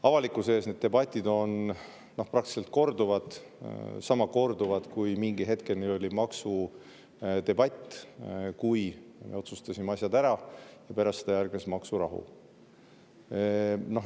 Avalikkuse ees on need debatid praktiliselt kordunud, nagu maksudebatid selle hetkeni, kui me otsustasime asjad ära, ja pärast seda järgnes maksurahu.